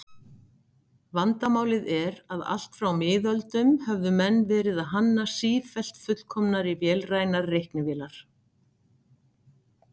Vandamálið er að allt frá miðöldum höfðu menn verið að hanna sífellt fullkomnari vélrænar reiknivélar.